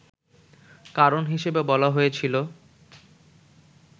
কারণ হিসেবে বলা হয়েছিল